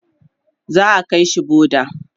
za'a kaishi boda